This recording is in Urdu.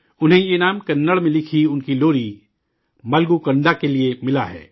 انہیں یہ انعام کنڑ میں لکھی ان کی لوری 'ملگو کندا' کے لیے ملا ہے